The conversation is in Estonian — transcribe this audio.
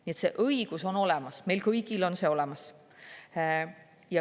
Nii et see õigus on olemas, meil kõigil on see olemas.